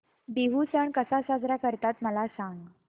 बिहू सण कसा साजरा करतात मला सांग